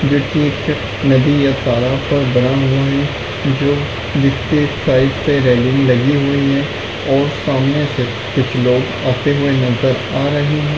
जो की एक नदी या तालाब का बना हुआ है जो जिसके साइड से रेलिंग लगी हुई है और सामने से कुछ लोग आते हुए नज़र आ रहे हैं।